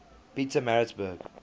pietermaritzburg